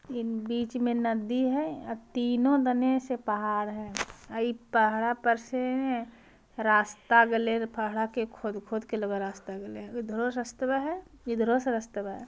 इ बीच में नदी है अ तीनो दने से पहाड़ है। अ इ पहड़ा पर से रास्ता गेलै है पहड़ा के खोद-खोद के लगा हे रास्ता गेलै है उधरो से रास्तबा है इधरो से रास्तबा है |